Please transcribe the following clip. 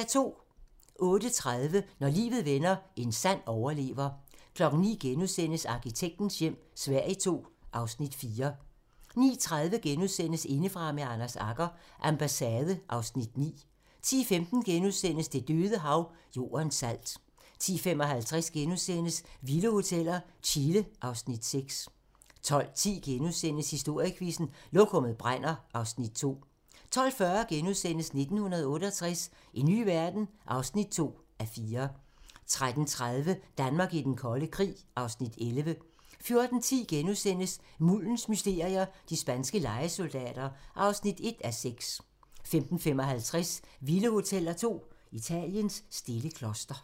08:30: Når livet vender – en sand overlever 09:00: Arkitektens hjem - Sverige II (Afs. 4)* 09:30: Indefra med Anders Agger - Ambassade (Afs. 9)* 10:15: Det Døde Hav - Jordens salt * 10:55: Vilde hoteller - Chile (Afs. 6)* 12:10: Historiequizzen: Lokummet brænder (Afs. 2)* 12:40: 1968 - en ny verden? (2:4)* 13:30: Danmark i den kolde krig (Afs. 11) 14:10: Muldens mysterier - de spanske lejesoldater (1:6)* 14:55: Vilde hoteller 2 - Italiens stille kloster